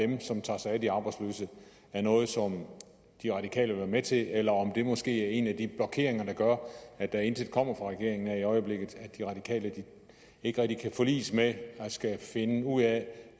dem som tager sig af de arbejdsløse er noget som de radikale vil være med til eller om det måske er en af de blokeringer der gør at der intet kommer fra regeringen i øjeblikket at de radikale ikke rigtig kan forliges med at skulle finde ud af